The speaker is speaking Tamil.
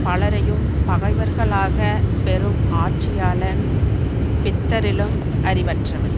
பலரையும் பகைவர்களாகப் பெறும் ஆட்சியாளன் பித்தரிலும் அறிவற்றவன்